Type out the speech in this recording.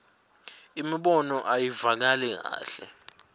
imibono ayivakali kahle